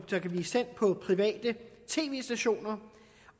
der kan blive sendt på private tv stationer